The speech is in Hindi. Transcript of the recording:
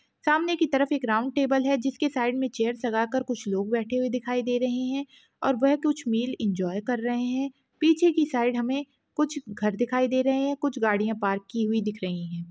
सामने की तरफ एक राउंड टेबल है जिसके साइड मैं चेयर्स लगा कर कुछ लोग बैठे हुए दिखाई दे रहे हैं और वह कुछ मील एन्जॉय कर रहे हैं पीछे की साइड हमें कुछ घर दिखाई दे रहे हैं कुछ गाड़ियां पार्क की हुई दिख रही हैं।